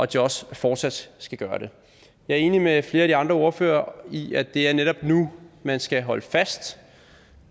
de også fortsat skal gøre det jeg er enig med flere af de andre ordførere i at det er netop nu man skal holde fast